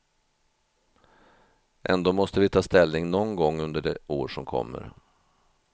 Ändå måste vi ta ställning någon gång under det år som kommer.